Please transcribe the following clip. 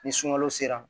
Ni sunkalo sera